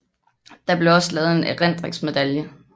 Der blev også lavet en erindringsmedalje